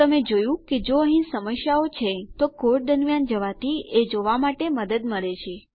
તો તમે જોયું કે જો અહીં સમસ્યાઓ છે તો કોડ દરમ્યાન જવાથી એ જોવા માટે મદદ મળે છે